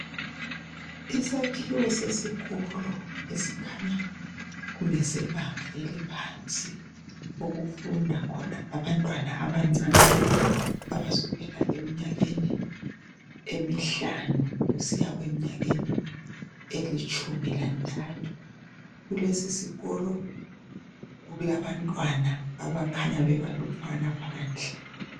Isakhiwo sesikolo esikhanya kungese banga eliphansi okufunda khona abantwana abancane abasukela emnyakeni emihlanu kusiya emnyakeni elitshumi lantathu kulesisikolo kulabantwana abakhanya bebalutshwana phandle.